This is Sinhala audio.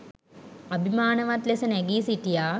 අභිමානවත් ලෙස නැගී සිටියා.